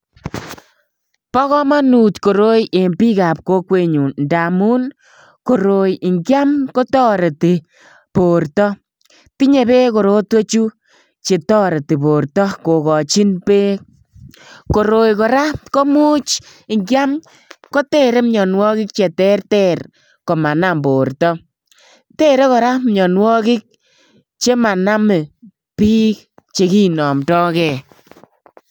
Bo komonut koroi en bikab kokwenyun, ndamun koroi ingiam kotoretii bortoo. Tinye beek korotwechu che toretii bortoo, kokochin beek. Koroi kora komuch ingiam kotere mionwogik che terter komanam bortoo. Tere kora mionwogiik chemonome biik chekinomdogei